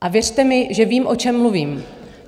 A věřte mi, že vím, o čem mluvím.